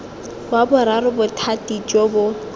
wa boraro bothati jo bo